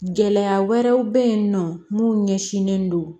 Gɛlɛya wɛrɛw bɛ yen nɔ mun ɲɛsinnen don